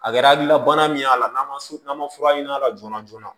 A kɛra hakilila bana min y'a la n'a ma n'a ma fura ɲini a la joona joona